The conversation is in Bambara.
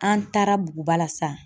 An taara Buguba la san.